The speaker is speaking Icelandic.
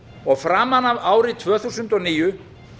og framan af ári tvö þúsund og níu